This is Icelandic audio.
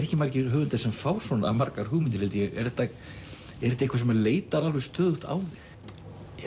ekki margir höfundar sem fá svona margar hugmyndir held ég er þetta eitthvað sem leitar alveg stöðugt á þig